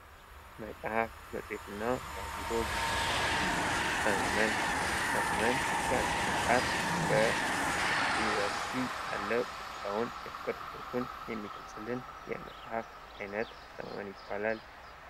መጽሐፍ መጽሔትና ጋዜጦች ሰመመን ሰመመን፦ የአንድን ወጣት በዩኒቨርስቲ ያለ ሁኔታውን ፤የፍቅር ህይወቱን የሚገልጽልን የመጽሐፍ አይነት ሰመመን ይባላል።